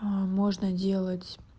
можно делать